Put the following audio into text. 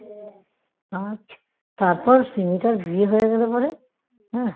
আর তারপর সিমিটার বিয়ে হয়ে গেলে পরে হ্যাঁ